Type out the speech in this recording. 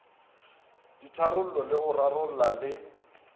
ditharollo le go rarolla le